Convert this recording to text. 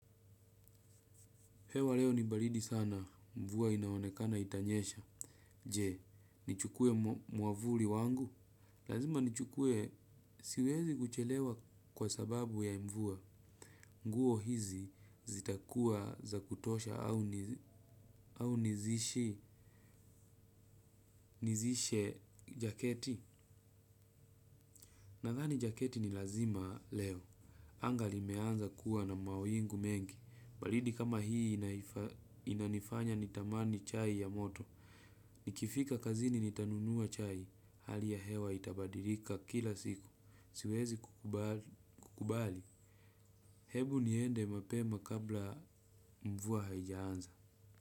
Hewa leo ni baridi sana mvua inaonekana itanyesha. Je, nichukue mwavuli wangu. Lazima nichukue siwezi kuchelewa kwa sababu ya mvua. Nguo hizi zitakua za kutosha au nizishe jaketi. Na dhani jaketi ni lazima leo. Anga limeanza kuwa na mawingu mengi. Baridi kama hii inanifanya nitamani chai ya moto. Nikifika kazini nitanunua chai, hali ya hewa itabadilika kila siku, siwezi kukubali. Hebu niende mapema kabla mvua haijaanza.